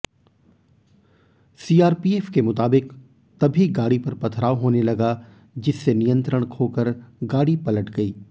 CRPF के मुताबिक तभी गाड़ी पर पथराव होने लगा जिससे नियंत्रण खोकर गाड़ी पलट गई